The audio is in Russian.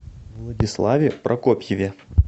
владиславе прокопьеве